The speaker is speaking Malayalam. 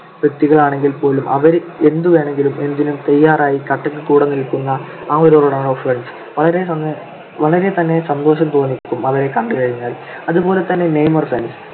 വ്യക്തികളാണെങ്കിൽ പോലും അവര് എന്തുവേണമെങ്കിലും എന്തിനും തയ്യാറായി കട്ടക്ക് കൂടെനിൽകുന്ന വളരെ തന്നെ സന്തോഷം തോന്നിക്കും അവരെ കണ്ടുകഴിഞ്ഞാൽ. അതുപോലെതന്നെ നെയ്‌മർ fans